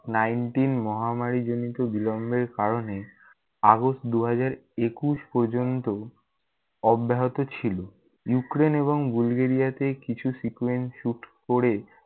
nineteen মহামারীজনিত বিলম্বের কারণে august দুই হাজার একুশ পর্যন্ত অব্যাহত ছিল । ইউক্রেন এবং বুলগেরিয়াতে কিছু sequence shoot করে-